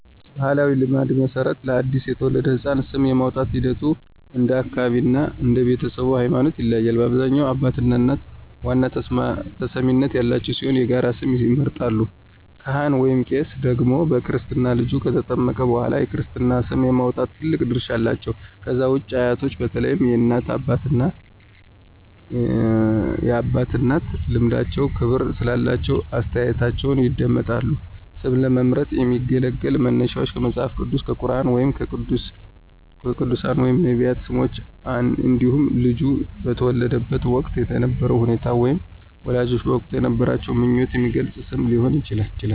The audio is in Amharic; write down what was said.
በባሕላዊ ልማድ መሠረት፣ ለአዲስ የተወለደ ሕፃን ስም የማውጣቱ ሂደት እንደ አካባቢው እና እንደ ቤተሰቡ ሃይማኖት ይለያያል። በአብዛኛው አባትና እናት ዋና ተሰሚነት ያላቸው ሲሆን የጋራ ስም ይመርጣሉ። ካህን/ቄስ ደግሞ በክርስትና ልጁ ከተጠመቀ በኋላ የክርስትና ስም የማውጣት ትልቅ ድርሻ አላቸው። ከዛ ውጪ አያቶች በተለይም የእናት አባትና የአባት እናት ልምዳቸውና ክብር ስላላቸው አስተያየታቸው ይደመጣል። ስም ለመምረጥ የሚያገለግሉ መነሻዎች ከመጽሐፍ ቅዱስ፣ ከቁርኣን ወይም ከቅዱሳን/ነቢያት ስሞች እንዲሁም ልጁ በተወለደበት ወቅት የነበረውን ሁኔታ ወይም ወላጆች በወቅቱ የነበራቸውን ምኞት የሚገልጽ ስም ሊሆን ይችላል።